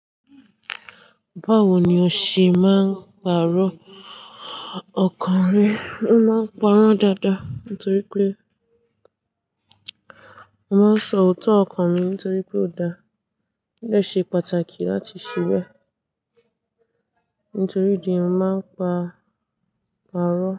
Báwo ni o ṣe máa ń pàrọ̀ ọkàn rẹ? Mo máa ń pàrọ̀ dáadáa nítorí pé mo máa sọ òótọ́ ọkàn mi nítorí pé ó dáa. Ó ṣe pàtàkì láti ṣiwẹ nítorí ìdí máa ń pa, pàrọ̀.